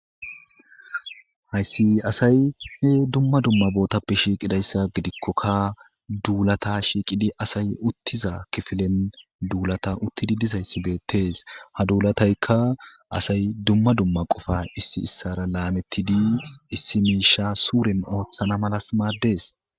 Hayssi asay he dumma dumma bootappe shiiqidayssa gidikkokka duulata shiiqidi asay uttiza kifilen duulata uttidi dizayssi beettes ha duulataykka asay dumma dumma qofa issi issara laametidi issi miisha suurin ooththana malas maaddees.